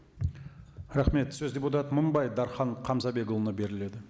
рахмет сөз депутат мыңбай дархан қамзабекұлына беріледі